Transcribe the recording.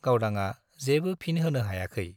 गावदांआ जेबो फिन होनो हायखै ।